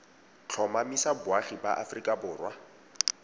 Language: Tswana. tlhomamisa boagi ba aforika borwa